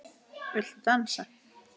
Viltu dansa?